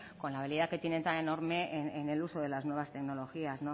con la habilidad que tienen tan enorme en el uso de las nuevas tecnologías